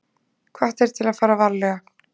Hvattir til að fara varlega